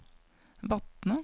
Vatne